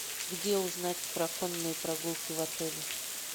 где узнать про конные прогулки в отеле